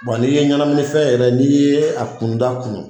n'i ye ɲɛnaminifɛn yɛrɛ n'i ye a kunuta kunu